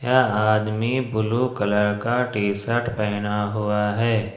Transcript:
यह आदमी blue colour का टी शर्ट पहना हुआ है।